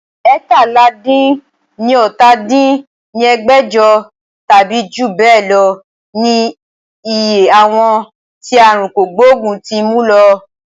eétalá-dín-ní-ọ́ta dín ní ẹgbẹ́jọ tàbí jù bẹ lọ ní iye àwọn tí aàrùn kògbógùn ti mú lọ